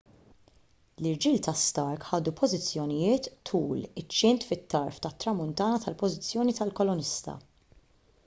l-irġiel ta' stark ħadu pożizzjonijiet tul iċ-ċint fit-tarf tat-tramuntana tal-pożizzjoni tal-kolonista